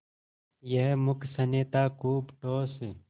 यह मूक स्नेह था खूब ठोस